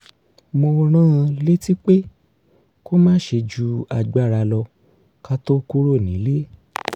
mo rán an létí pé kó má ṣe ju agbáralo̩ ká tó kúrò nílé